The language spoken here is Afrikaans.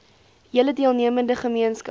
hele deelnemende gemeenskap